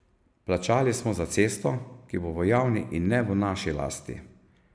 Plačali smo za cesto, ki bo v javni, in ne v naši lasti.